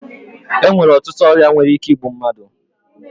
E nwere ọtụtụ ọrịa nwere ike igbu mmadụ